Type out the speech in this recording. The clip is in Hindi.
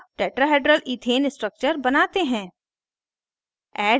अब tetrahedral इथेन structure बनाते हैं